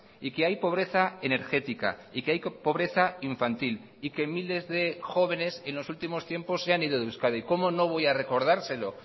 y que hay pobreza energética y que hay pobreza infantil y que miles de jóvenes en los últimos tiempos se han ido de euskadi cómo no voy a recordárselo